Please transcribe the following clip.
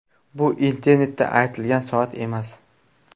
Bu internetda aytilgan soat emas.